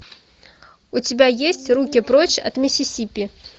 у тебя есть руки прочь от миссисипи